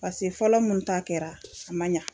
Pase fɔlɔ mun ta kɛra a man ɲa.